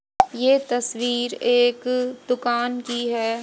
ये तस्वीर एक दुकान की है।